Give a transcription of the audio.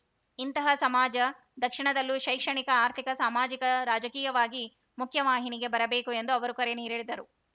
ಇಂತಹ ಸಮಾಜ ದಕ್ಷಿಣದಲ್ಲೂ ಶೈಕ್ಷಣಿಕ ಆರ್ಥಿಕ ಸಾಮಾಜಿಕ ರಾಜಕೀಯವಾಗಿ ಮುಖ್ಯ ವಾಹಿನಿಗೆ ಬರಬೇಕು ಎಂದು ಅವರು ಕರೆ ನೀಡಿದರು